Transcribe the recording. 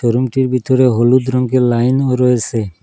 রুমটির ভিতরে হলুদ রঙের লাইনও রয়েসে।